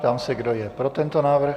Ptám se, kdo je pro tento návrh.